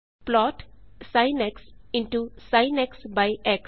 plot by X